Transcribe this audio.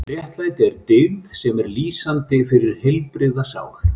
Réttlæti er dyggð sem er lýsandi fyrir heilbrigða sál.